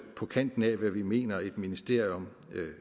på kanten af hvad vi mener et ministerium